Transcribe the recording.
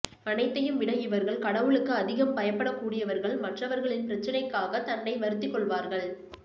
அனைத்தையும் விட இவர்கள் கடவுளுக்கு அதிகம் பயப்பட கூடியவர்கள் மற்றவர்களின் பிரச்சினைக்காக தன்னை வருத்திக் கொள்வார்கள்